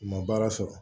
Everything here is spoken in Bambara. U ma baara sɔrɔ